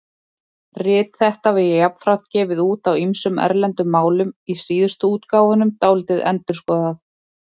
Rit þetta var jafnframt gefið út á ýmsum erlendum málum, í síðustu útgáfunum dálítið endurskoðað.